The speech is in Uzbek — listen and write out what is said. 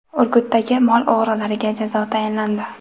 Urgutdagi mol o‘g‘rilariga jazo tayinlandi.